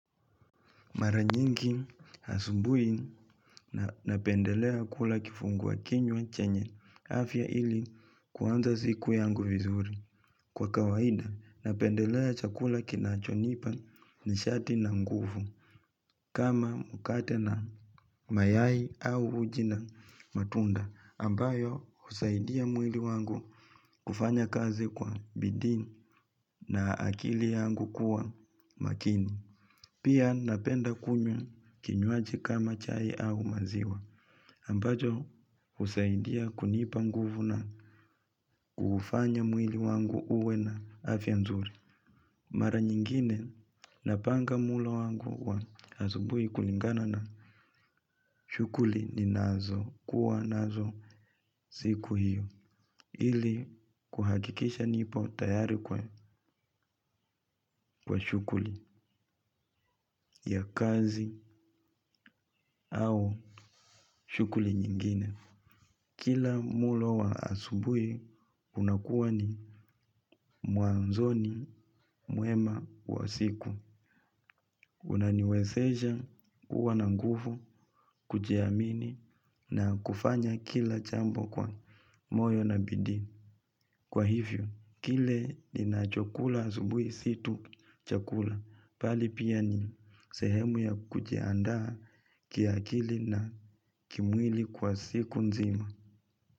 Mara nyingi asubuhi napendelea kula kifungua kinywa chenye afya ili kuanza siku yangu vizuri. Kwa kawaida napendelea chakula kinachonipa nishati na nguvu kama mkate na mayai au uji na matunda ambayo husaidia mwili wangu kufanya kazi kwa bidiii na akili yangu kuwa makini. Pia napenda kunywa kinywaji kama chai au maziwa, ambacho husaidia kunipa nguvu na kufanya mwili wangu uwe na afya nzuri. Mara nyingine napanga mulo wangu wa asubuhi kulingana na shughuli ninazo kuwa nazo siku hiyo, ili kuhakikisha nipo tayari kwa shughuli ya kazi au shughuli nyingine. Kila mulo wa asubuhi unakuwa ni mwanzoni mwema wa siku. Unaniwezesha kuwa na nguvu, kujiamini na kufanya kila jambo kwa moyo na bidii. Kwa hivyo, kile ninachokula asubuhi si tu chakula. Bali pia ni sehemu ya kujiaandaa kiakili na kimwili kwa siku nzima.